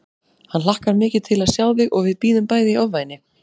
Hann hlakkar mikið til að sjá þig og við bíðum bæði í ofvæni